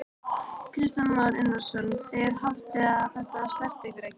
Kristján Már Unnarsson: Þið haldið að þetta snerti ykkur ekki?